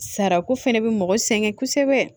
Sarako fɛnɛ bɛ mɔgɔ sɛgɛn kosɛbɛ